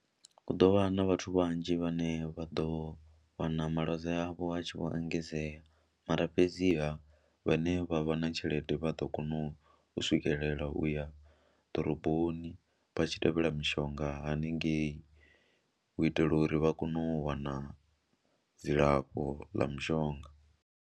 Hu ḓo vha na vhathu vhanzhi vhane vha ḓo wana malwadze avho a tshi vho engedzea mara fhedziha vhane vha vha na tshelede vha ḓo kona u swikelela u ya ḓoroboni vha tshi tevhela mishonga haningei u itela uri vha kone u wana dzilafho ḽa mushonga.